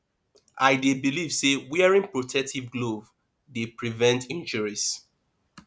i dey believe say wearing protective glove dey prevent injuries